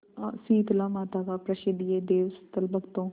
शीतलामाता का प्रसिद्ध यह देवस्थल भक्तों